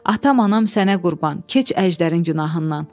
“Atam-anam sənə qurban, keç əjdərin günahından.